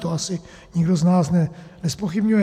To asi nikdo z nás nezpochybňuje.